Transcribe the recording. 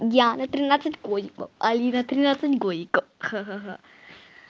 диана тринадцать годиков алина тринадцать годика ха-ха